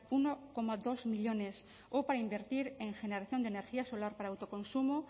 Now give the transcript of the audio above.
uno coma dos millónes o para invertir en generación de energía solar para autoconsumo